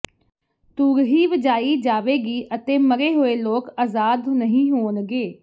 ਤੂਰ੍ਹੀ ਵਜਾਈ ਜਾਵੇਗੀ ਅਤੇ ਮਰੇ ਹੋਏ ਲੋਕ ਅਜ਼ਾਦ ਨਹੀਂ ਹੋਣਗੇ